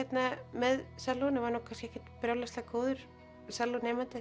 með var kannski ekkert brjálæðislega góður